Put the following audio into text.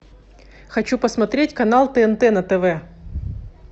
хочу посмотреть канал тнт на тв